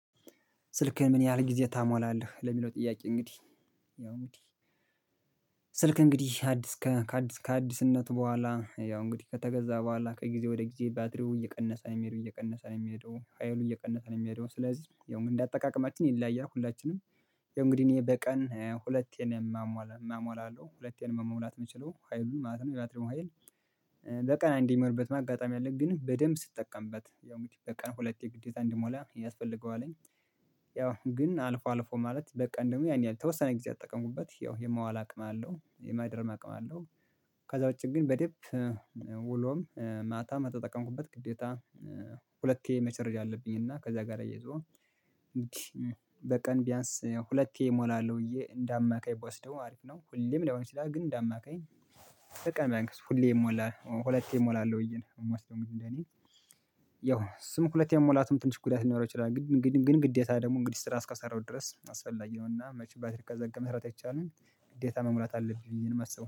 "ስልክህን ምን ያህል ጊዜ ታሟላለህ?" ለሚለው ጥያቄ እንግዲህ ያው ምን እንግዲህ ስልክ እንግዲህ አዲስ ከአዲስ ከአዲስነት በኋላ ያው እንግዲህ ከተገዛ በኋላ ከጊዜ ወደ ጊዜ ባትሪው እየቀነሰ ነው የሚሄደው እየቀነሰ ነው የሚሄደው ሀይሉ እየቀነሰ ነው የሚሄደው። ስለዚህ ያው እንደ አጠቃቀማችን ይለያያል ሁላችንም ያው እንግዲህ እኔ በቀን ሁለቴ ነው ማሞላ ማሞላለሁ ሁለቴን መሙላት የምችለው። ሀይሉን ማለት ነው የባትሪውን ሀይል፤ በቀን አንዴ የሚሞላበትም አጋጣሚ አለ፤ ግን በደንብ ስጠቀምበት ያው እንግዲህ በቀን ሁለቴ ግዴታ እንድሞላ ያስፈልገዋለኝ። ያው ግን አልፎ አልፎ ማለት በቀን ደግሞ ያን ያህል የተወሰነ ጊዜ ከተጠቀምኩበት ያው የመዋል አቅም አለው። የማድረም አቅም አለው። ከዛ ውጪ ግን በደምብ ውሎም ማታ ከተጠቀምኩበት ግዴታ ሁለቴ መቸርድ አለብኝ። እና ከዛ ጋር አያይዞ በቀን ቢያንስ ሁለቴ እሞላለሁ ብዬ እንደ አማካይ ብወስደው አሪፍ ነው። ሁሌም ላይሆነ ግን እንደ አማካይ በቃ ብዬ አንገስ ሁሌ ይሞላል ሁለቴ እሞላለሁ ብዬ ነው የምወስደውእንግዲህ እንደኔ ያው ስሙ ሁለቴ መሞላትም ትንሽ ጉዳት ሊኖረው ይችላል። ግድ ግድግን ግዴታ ደግሞ እንግዲህ ስራ እስከሰራው ድረስ አስፈላጊ ነውና መቼም ባትሪ ከዘጋ መስራት አይቻልም ግዴታ መሙላት አለብኝ ብዬ ነው ማስበው